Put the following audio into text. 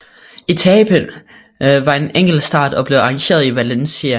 Etapen var en enkeltstart og blev arrangeret i Valencia